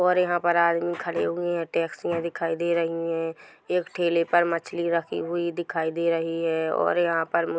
और यहाँ पर आदमी खड़े हुए हैं टैक्सियां दिखाई दे रही है एक ठेले पर मछलियां रखी हुई दिखाई दे रही हैं और यहाँ पर--